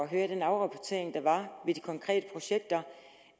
høre den rapportering der var af de konkrete projekter